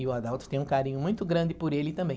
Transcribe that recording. E o Adalto tem um carinho muito grande por ele também.